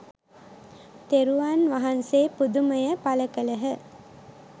තෙරුන් වහන්සේ පුදුමය පළ කළහ.